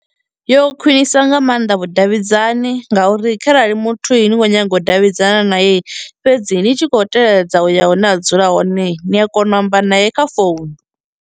Yo khwinisa nga maanḓa vhudavhidzani ngauri kharali muthu i ni ni khou nyaga u davhidzana naye fhedzi ni tshi khou teledza u ya hune a dzula hone ni a kona u amba naye kha founu.